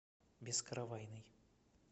бескаравайный